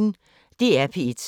DR P1